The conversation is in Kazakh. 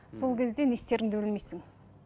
сол кезде не істеріңді білмейсің